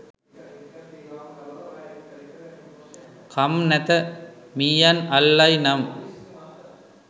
කම් නැත මීයන් අල්ලයි නම්”